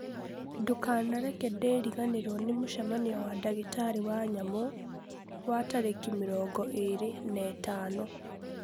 Ndũkanareke ndiriganĩrwo nĩ mũcemanio wa ndagĩtarĩ wa nyamũ wa rover wa tarĩki mĩrongo ĩĩrĩ na ĩtano